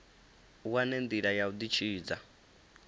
wane ndila ya u ditshidza